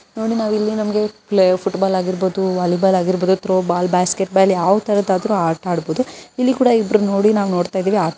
ನೋಡಿ ನಮಗೆ ಇಲ್ಲಿ ಫುಟ್ಬಾಲ್ ಆಗಿರಬಹುದು ವಾಲಿಬಾಲ್ ಥ್ರೋ ಬಾಲ್ ಆಗಿರಬಹುದು ಯಾವ ತರಹ ಆಗಬೇಕಾದರೂ ಆಟ ಆಡಬಹುದು ನೋಡಿ ನಾವಿಲ್ ನೋಡ್ತಾ ಇದೀವಿ.